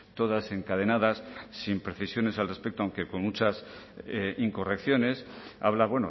todas encadenadas sin precisiones al respecto aunque con muchas incorrecciones habla